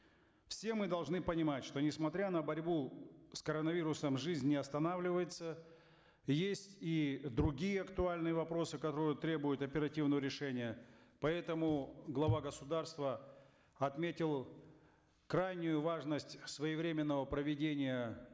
все мы должны понимать что несмотря на борьбу с коронавирусом жизнь не останавливается есть и другие актуальные вопросы которые требуют оперативного решения поэтому глава государства отметил крайнюю важность своевременного проведения